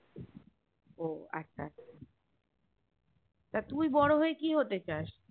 ও আচ্ছা আচ্ছা তা তুই বরো হয়ে কি হতে চাস